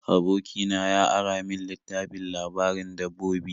Aboki na ya ara min littafin labarin dabbobi.